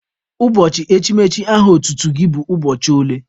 Ụbọchị echimechi aha otutu gị bụ ụbọchị ole?